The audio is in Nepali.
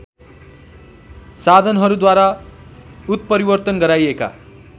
साधनहरूद्वारा उत्परिवर्तन गराइएका